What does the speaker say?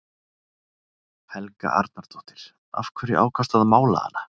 Helga Arnardóttir: Af hverju ákvaðstu að mála hana?